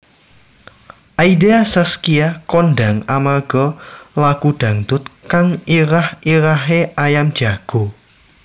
Aida Saskia kondhang amarga lagu dangdut kang irah irahé Ayam Jago